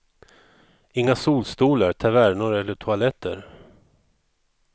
Inga solstolar, tavernor eller toaletter.